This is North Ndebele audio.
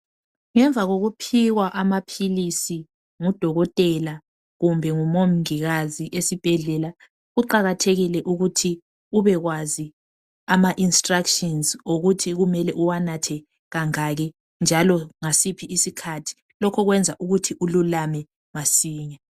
Ngemva kokuphiwa amaphilisi ngudokotela kumbe ngumongikazi esibhedlela kuqakathekile ukuthi ubekwazi ama instructions. okuthi kumele uwanathe kangaki njalo ngasiphi isikhathi. Lokho kwenza ukuthi ululame masinya.